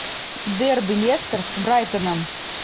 дерби лестер с брайтоном